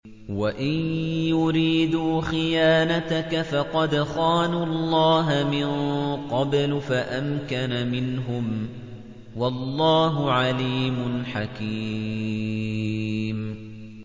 وَإِن يُرِيدُوا خِيَانَتَكَ فَقَدْ خَانُوا اللَّهَ مِن قَبْلُ فَأَمْكَنَ مِنْهُمْ ۗ وَاللَّهُ عَلِيمٌ حَكِيمٌ